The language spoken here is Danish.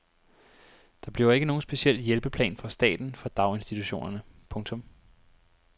Der bliver ikke nogen speciel hjælpeplan fra staten for daginstitutionerne. punktum